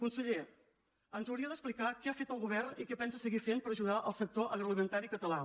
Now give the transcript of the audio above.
conseller ens hauria d’explicar què ha fet el govern i què pensa seguir fent per ajudar el sector agroalimentari català